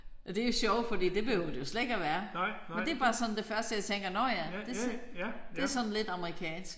Og det jo sjovt fordi det behøver det jo slet ikke at være men det er bare det første jeg tænker nåh ja det er sådan det er sådan lidt amerikansk